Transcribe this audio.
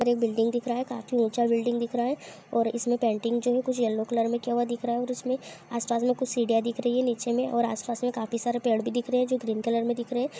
Building दिख रहा है | काफी ऊंचा बिल्डिंग दिख रहा है इसमे पेंटिंग जो है कुछ येल्लो कलर मे किया हुआ दिख रहा है और उसमे आस पास मे कुछ सीढ़िया दिख रही है | नीचे मे और आस पास मे काफी सारे पेड़ भी दिख रहे है जो ग्रीन कलर मे दिख रहे है।